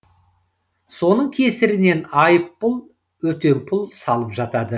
соның кесірінен айыппұл өтемпұл салып жатады